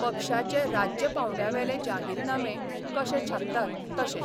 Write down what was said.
पक्षाचे राज्य पावंड्यावेले जाहीरनामे कशे छापतात तशे.